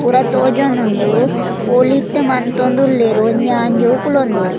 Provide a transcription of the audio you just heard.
ಪೂರ ತೋಜೊಂದುಂಡು ಪೋಳಿಟ್ಟ್ ಮಂತೊಂದುಲ್ಲೆರ್ ಒಂಜಿ ಆಂಜೋವ್ ಕುಲೊಂದೆರ್.